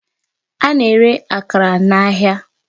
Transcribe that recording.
A na-ere akara n'ahịa.